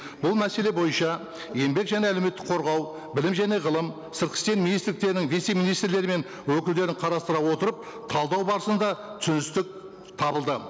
бұл мәселе бойынша еңбек және әлеуметтік қорғау білім және ғылым сыртқы істер министрліктерінің вице министрлері мен өкілдерін қарастыра отырып талдау барысында түсіністік табылды